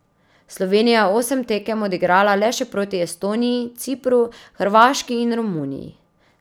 Slovenija je osem tekem odigrala le še proti Estoniji, Cipru, Hrvaški in Romuniji.